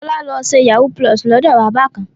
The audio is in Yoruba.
Fọlá lọ ṣe yahoo+ lọ́dọ̀ bàbá kan.